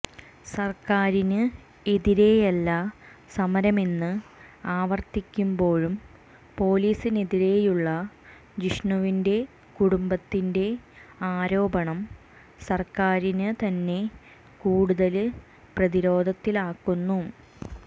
സര്ക്കാറിന് എതിരെയല്ല സമരമെന്ന് ആവര്ത്തിക്കുമ്പോഴും പൊലീസിനെതിരെയുള്ള ജിഷണുവിന്റെ കുടുംബത്തിന്റെ ആരോപണം സര്ക്കാരിന് തന്നെ കൂടുതല് പ്രതിരോധത്തിലാക്കുന്നു